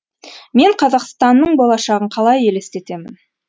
мен қазақстанның болашағын қалай елестетемін